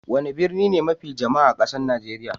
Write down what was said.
Wani birni ne mafi jama'a a kasan Nijeriya?